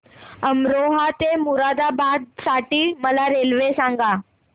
अमरोहा ते मुरादाबाद साठी मला रेल्वे सांगा